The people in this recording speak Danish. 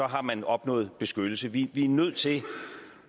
har man opnået beskyttelse vi er nødt til